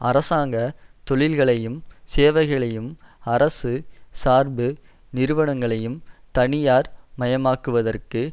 அரசாங்க தொழில்களையும் சேவைகளையும் அரசு சார்பு நிறுவனங்களையும் தனியார் மயமாக்குவதற்கு